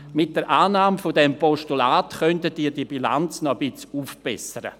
Mit der Annahme dieses Postulats könnten Sie diese Bilanz noch ein wenig aufbessern.